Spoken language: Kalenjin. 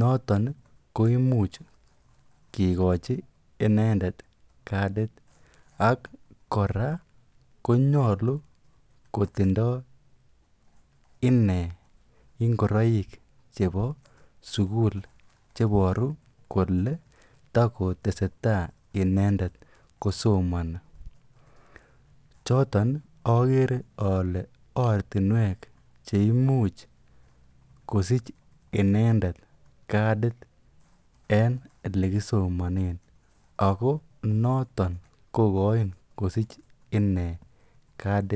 noton ko imuch kikochi kadit ak kora konyolu kotindo inee ingoroik chebo sukul cheboru kolee tokoteseta inendet kosomoni, choton okere olee ortinwek cheimuch kosich inendet kadid en elekisomonen ak ko noton kokochin kosich inee kadit.